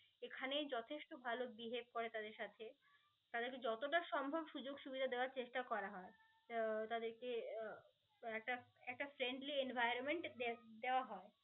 এখানেই যথেষ্ট ভাল behave করে সাথে. তাদের কে যতটা সম্ভব সুযোগ সুবিধা দেওয়ার চেষ্টা করা হয়. আহ তাদেরকে উহ একটা একটা friendly environment দে~ দেওয়া হয়.